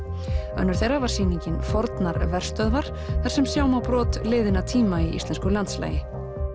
önnur þeirra var sýningin fornar verstöðvar þar sem sjá má brot liðinna tíma í íslensku landslagi